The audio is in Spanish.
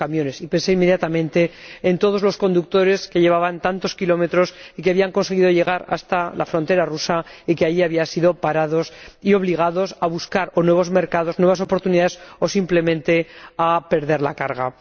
y pensé inmediatamente en todos los conductores que llevaban tantos kilómetros de viaje y que habían conseguido llegar hasta la frontera rusa para allí ser parados y obligados o a buscar nuevos mercados, nuevas oportunidades, o simplemente a perder la carga.